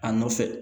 A nɔfɛ